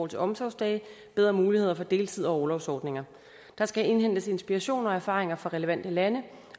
til omsorgsdage bedre muligheder for deltid og orlovsordninger der skal indhentes inspiration og erfaringer fra relevante lande